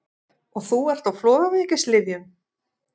Og þú ert á flogaveikilyfjum!